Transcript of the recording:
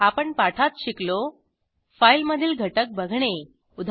आपण पाठात शिकलो फाईलमधील घटक बघणे उदा